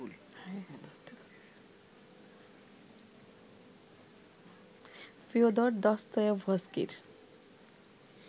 Fyodor দস্তয়েভস্কির